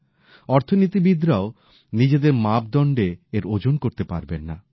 অর্থনীতিবিদরাও নিজেদের মাপদন্ডে এর ওজন করতে পারবেন না